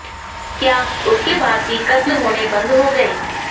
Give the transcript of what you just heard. क्या उसके बाद भी कत्ल होने बंद हो गए